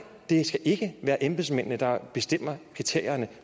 det skal ikke være embedsmændene der bestemmer kriterierne